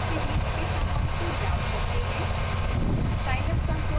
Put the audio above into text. अब दो वैक्टर के बीच के संबंध को ज्ञात करते हैं